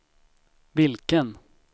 vilken